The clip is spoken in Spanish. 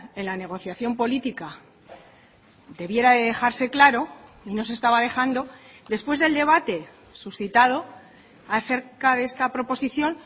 en la negociación política debiera de dejarse claro y no se estaba dejando después del debate suscitado acerca de esta proposición